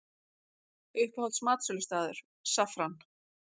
Uppáhalds matsölustaður: Saffran